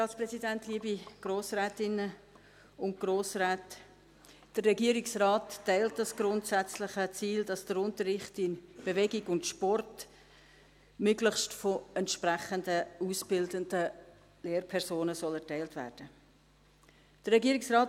Der Regierungsrat teilt das grundsätzliche Ziel, wonach der Unterricht in Bewegung und Sport möglichst von entsprechend ausgebildeten Lehrpersonen erteilt werden soll.